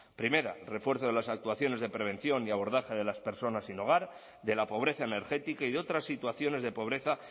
primera refuerzo de las actuaciones de prevención y abordaje de las personas sin hogar de la pobreza energética y de otras situaciones de pobreza